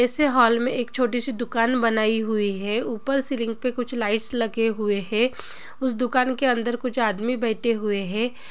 इसी हॉल मे एक छोटी शी दुकान बनाई हुई है ऊपर सीलिंग पे कुछ लाइट्स लगे हुए है उस दुकान के अंदर कुछ आदमी बैठे हुवे है ।